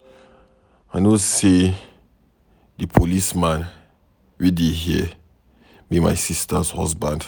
I no know say the policeman wey dey here be my sister husband.